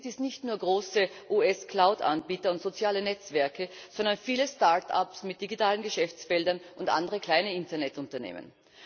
Es sind dies nicht nur große US Cloud Anbieter und soziale Netzwerke, sondern viele Start ups mit digitalen Geschäftsfeldern und andere kleine Internetunternehmen.